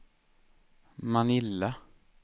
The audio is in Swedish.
Manila